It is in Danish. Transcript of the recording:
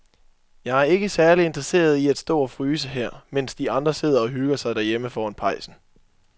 Jeg er ikke særlig interesseret i at stå og fryse her, mens de andre sidder og hygger sig derhjemme foran pejsen.